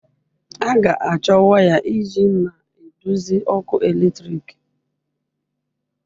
A ga-achọ waya iji na-eduzi ọkụ eletrik.